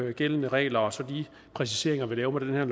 nugældende regler og så de præciseringer vi laver med